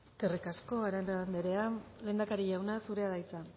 eskerrik asko arana andreea lehendakari jauna zurea da hitza